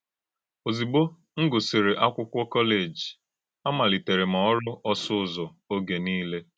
Ò̄zùgbò m gụsìrì ákwụ́kwọ kọ́léjì, àmàlítèrè m ọ́rụ́ òsụ̀ Ụ́zọ̀ ògé nílè.